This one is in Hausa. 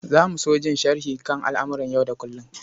Za mu so jin sharhi kan al'amuran yau da kullum.